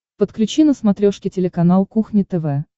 подключи на смотрешке телеканал кухня тв